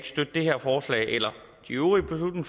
støtte det her forslag eller de øvrige